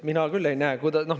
Mina küll ei näe.